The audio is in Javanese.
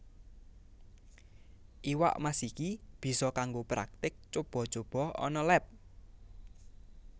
Iwak Mas iki bisa kanggo praktik cuba cuba ana leb